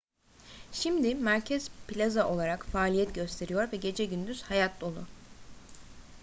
şimdi merkez plaza olarak faaliyet gösteriyor ve gece gündüz hayat dolu